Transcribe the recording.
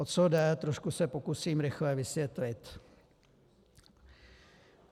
O co jde, se trošku pokusím rychle vysvětlit.